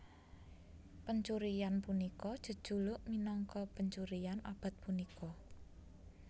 Pencurian punika jejuluk minangka pencurian abad punika